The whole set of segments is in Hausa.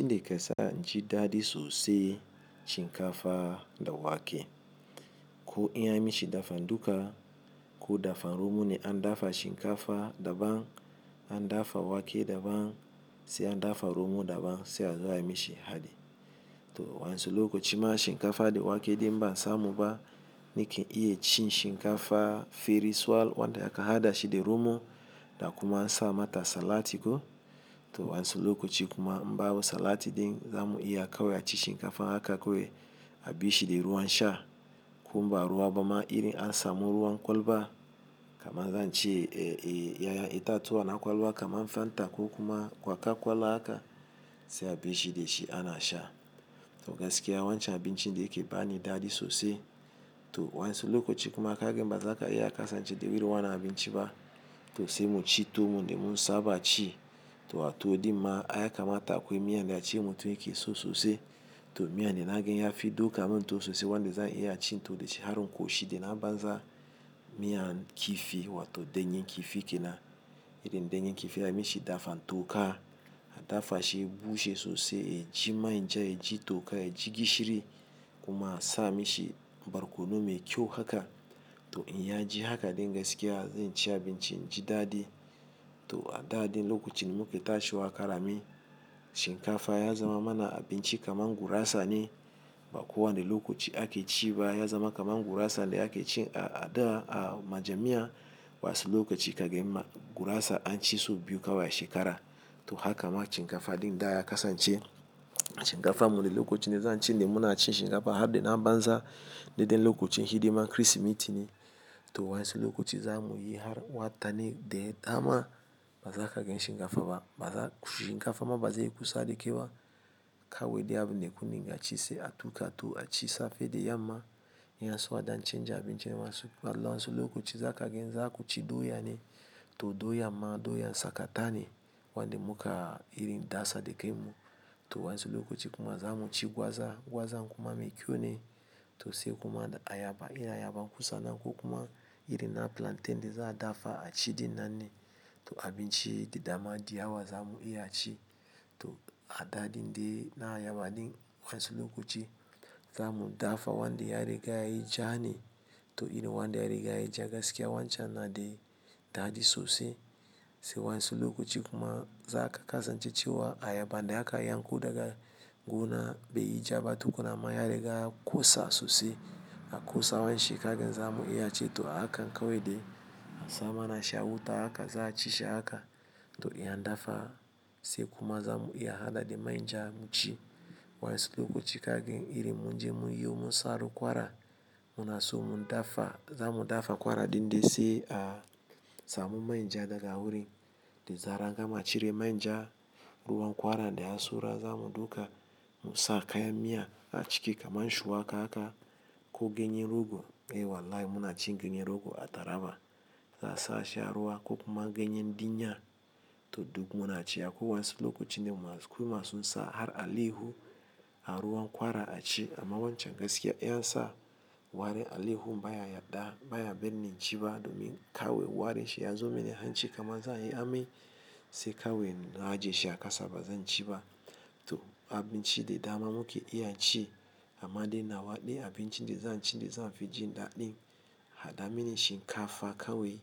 Abinda kesa inji da di sosi shinkafa dawake. Ko i ya mishi dafa duka, ko dafa romo ne an dafa shinkafa daban, an dafa wake daban, sai an dafa romo daban sai a zo ayi mishi hadi. To wansu lokoci ma shinkafa da wake din im ba a samuba nike iye ci shinkafa feriswal wanda a ka hadashi di romo da kuma an sa mata salatiko. To wansi lokoci kuma im babu salati din zamu iya kawai aci shinkafa haka kowai a bi shi de ruwan sha. Kumbaruwa bama iri an samu ruwan kwalba kaman zaa ce eh eh yayan itatuwa na kwalba kamar fanta konkuma kwakwakola alhaka sai a bishi de shi ana sha to gaskiya wancan abincinn ne yake bani dadi sosi. To wa 'yansu lokoci kuma kaga bazaka iya kasance de irin wana abinci ba. To sai mu ci tuwo wonde mun saba ci. To a tuwo dimma, ai ya kamata akwai miyan da a ce mutu yake so sosi. To miyan dana ga ya fi duka mun tuwo sosi wanda zan iya ci to de shi harnun koshi de na banza miyan kifi wato danyen kifi kena. Irin danyen kifi ai mishi dafa toka adafa shi ya bushe sosai ya ji manja yaji toka yaji gishiri kuma a sa mishi barkono mai ƙyau haka. To in ya ji haka din gaskiya zan ci abinci in ji dadi. To a da din lokocin muke tashiwa karami shinkafa ya zama mana abinci kamar gurasa ne. Ba kowa ne lokoci ake ci ba ya zama kamar gurasa da ake ci a, a da a majami'a. Wansu lokaci kagen ma gurasa an ci so biyu kawai shekara. To haka ma chinkafa din da ya kasan ce. Chinkafa muri lokoci ne zan ci ne muna ci shinkafa har de na banza deden lokacin hidiman Kirsimeti ne. To wa 'yensu lokaci zamuyi har watanni de dama bazaka gan shinkafa ba. Bazan shinka fa ma bazei kusa da kai ba kawai de abunn kun ringa ci se a tuka tuwo a ci safe di yamma. In yaso adan canja abincin wasu. Amma wasu lokaci zakagen zaku ci doya ne to doyan ma doyan sakata ne wanda muka irindasa da kai mu. To wansu lokoci kuma zamu ci gwaza, gwazan kuma mai kyau ne. To sai kuma da ayaba, in ayaba ku sannan ko kuma irin na plantain de za a dafa a ci din nan ne. To abinci de dama di yawa zamu iya ci. To a da din de na ayaba din wansu lokoci zamu dafa wanda ya riga yayi ja ne to irin wanda ya riga yayi ja gaskiya wancan na de dadi sosi. Sai wansi lokoci kuma za ka kasan ce cewa ayaban da aka yankon daga gona be yi jaba tukuna ma ya riga kosa sosi. A kusa wanshi kagen zamu iya ci to hakan kawe de a sa mana shi a wuta haka za a ci shi haka. To in an dafa sai kuma zamu iya hada da manja mu ci. Wansi lokoci kagen iri munje munyiyo munsaru kwara. Muna so mu dafa zamu dafa kwara din dai sai a samu manja daga wurin da zarar an gama cire manja ruwan kwara da yai saura zamu dauka msa kayan miya aciki kamar shuwaka haka ko ganyen rogo. Eh wallahi muna ci ganye rogo a taraba. Za asa shi a ruwa ko kuma ganye dinya to duk muna ci a ko wansi lokoci ne kuma ko masu nsa har alaihu a ruwan kwara ci amma wancan gaskiya iya sa ware alaihu baya yadda baya binni ci ba domin kawe ware shi ya zo meni han ci kamar zan iya ami sai kawai na ajiye shi a kasa bazan ci ba. To abinci de dama muke iya ci amma de nawa de abinci de zan ci de zanfi ji daɗin hada mini shinkafa kawe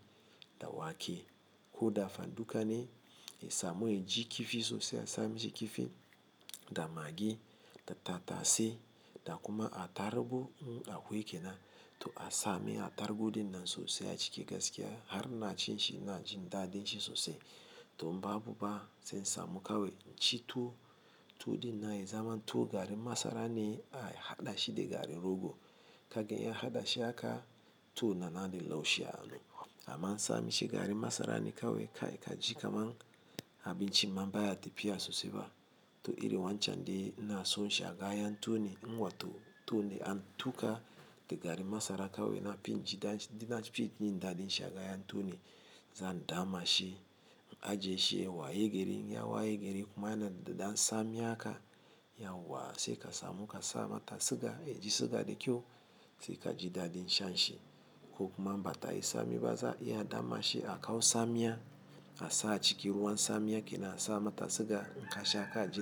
da wake ko dafa duka ne. Eh, samu, eh, ji kifi sosai a sa mishi kifi da magi da tatase da kuma a tarbu a wuwi kena. To a sami a tarbu din nan sosi a ciki gaskiya har na ci shi ina jin daɗin shi sosi. To babu ba sai in samu kawai inci tuwo tuwo din na yi zaman tuwo garin masara ne a hadashi da garin rogo. Kagan in hadashi haka tuwo na na di laushiya anu. Amma ansa mishi garin masara ne kawai kai ka ji kamar abinci ma baya ta fiya sosai ba. To iri wancan den ina sonshi in tuwo ne. Nwa to tuwo de an tuka da garin masara kawe nafin ji daɗin ci jin dadin shin ne. Zan dama shi, ajiye shi wayegeri, ya wayegeri kuma yana da dan sa mi haka. Ya wuwa sai ka samu ka sa mata siga, eh, ji siga da kyau sai ka ji daɗin shan shi ko kuma bata yi sa mi baza iya dama shi a kawo sa miya a sa a ciki ruwan sa miya kena a sa mata siga in kasha haka ka ji.